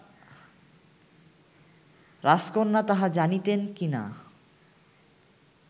রাজকন্যা তাহা জানিতেন কি না